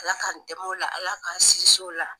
ALA k'an dɛmɛ o la ALA k'an sins'o la.